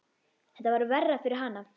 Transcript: Þetta var verra fyrir hana.